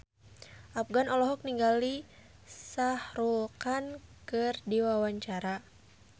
Afgan olohok ningali Shah Rukh Khan keur diwawancara